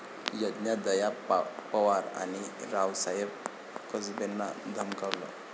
प्रज्ञा दया पवार आणि रावसाहेब कसबेंना धमकावलं